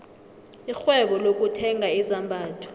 irhwebo lokuthenga izambatho